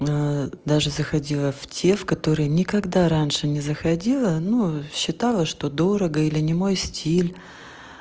даже заходила в те в которые никогда раньше не заходила но считала что дорого или не мой стиль